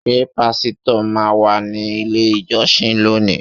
Ṣé pásítọ̀ má wá sí ilé ìjọsìn lónìí?